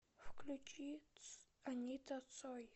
включи анита цой